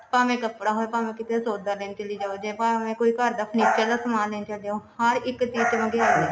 ਭਾਵੇਂ ਕੱਪੜਾ ਹੋਵੇ ਭਾਵੇਂ ਕਿਤੇ ਸੋਦਾਂ ਲੈਣ ਚਲੀ ਜਾਵਾਂ ਜਾ ਭਾਵੇਂ ਘਰ ਦਾ ਕੋਈ furniture ਜਾ ਸਮਾਨ ਲੈਣ ਚਲੇ ਜਾਉ ਹਰ ਇੱਕ ਚੀਜ ਚ ਮਹਿੰਗਿਆਈ